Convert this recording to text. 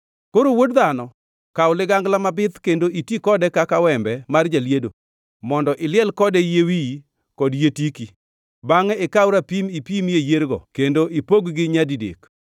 “Koro, wuod dhano, kaw ligangla mabith kendo iti kode kaka wembe mar jaliedo, mondo iliel kode yie wiyi kod yie tiki. Bangʼe ikaw rapim ipimie yiergo kendo ipog-gi nyadidek.